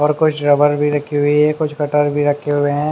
और कुछ रबर भी रखे हुए कुछ कटर भी रखे हुए है।